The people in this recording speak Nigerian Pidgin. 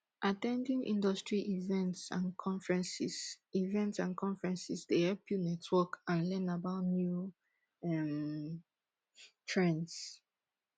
at ten ding industry events and conferences events and conferences dey help you network and learn about new um trends